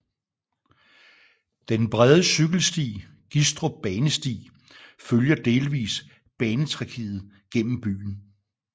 Den brede cykelsti Gistrup Banesti følger delvis banetracéet gennem byen